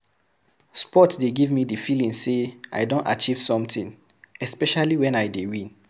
Sport dey give me the feeling sey I don achieve something, especially wen I dey win